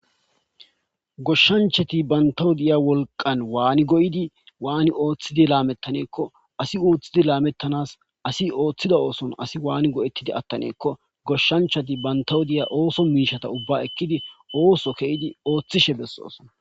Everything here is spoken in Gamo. Goshshanchati banttaw de7iya wolqan waani goyidi waani oothidi laamettane gikko asi oothidi laamettanaas asi oothida oothon asi waani go7ettidi attane giikko goshshanchati banttaw de7iya ooso miishshata ubba ekkidi ooso ke7idioothishe bessoosona.